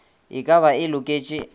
e ka ba e loketše